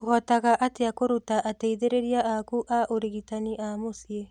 ũhotaga atĩa kũruta ateithĩrĩria aku a ũrigitani a mũciĩ?